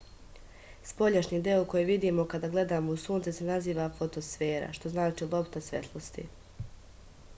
spoljašnji deo koji vidimo kada gledamo u sunce se naziva fotosfera što znači lopta svetlosti